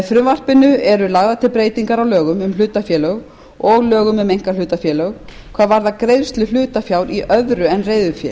frumvarpinu eru lagðar til breytingar á lögum um hlutafélög og lögum um einkahlutafélög hvað varðar greiðslu hlutafjár í öðru en reiðufé